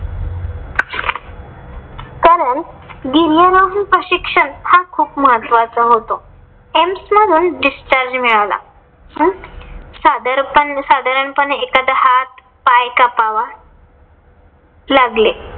कारण गिर्यारोहण प्रशिक्षण हा खूप महत्वाचा होतो. एम्म्स मधून discharge मिळाला. साधारणपणे एखादा हात पाय कापावा लागले.